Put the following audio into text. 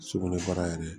Sugunɛbara yɛrɛ